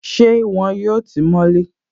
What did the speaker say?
Ṣé wọn yóò tí mọ́ lé?